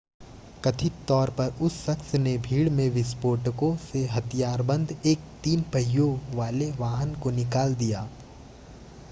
कथित तौर पर उस शख्स ने भीड़ में विस्फोटकों से हथियारबंद एक तीन पहियों वाले वाहन को निकाल दिया